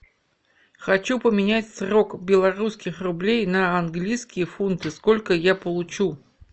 хочу поменять сорок белорусских рублей на английские фунты сколько я получу